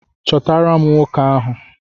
Chọtara m nwoke ahụ!